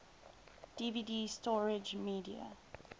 dvd storage media